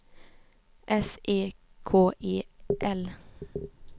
S E K E L